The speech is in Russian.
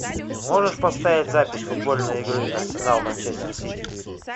можешь поставить запись футбольной игры арсенал манчестер сити